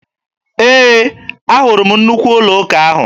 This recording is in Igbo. Ee, ahụrụ m nnukwu ụlọụka ahụ.